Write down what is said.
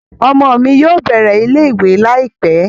Ọmọ mi yóò bẹ̀rẹ̀ ilé ìwé láìpẹ́